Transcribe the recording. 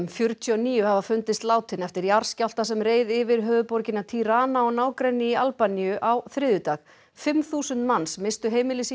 fjörutíu og níu hafa fundist látin eftir jarðskjálfta sem reið yfir höfuðborgina Tirana og nágrenni í Albaníu á þriðjudag fimm þúsund manns misstu heimili sín